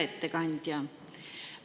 Hea ettekandja!